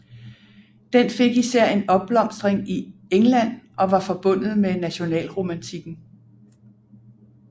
Den fik især en opblomstring i England og var forbundet med nationalromantikken